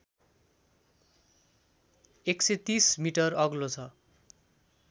१३० metre अग्लो छ